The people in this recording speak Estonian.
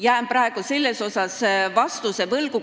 Jään praegu selles osas vastuse võlgu.